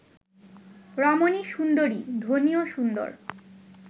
রমণী সুন্দরী; ধ্বনিও সুন্দর